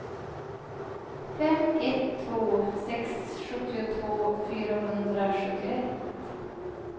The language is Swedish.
fem ett två sex sjuttiotvå fyrahundrasjuttioett